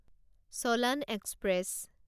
চলান express